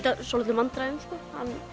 svolitlum vandræðum sko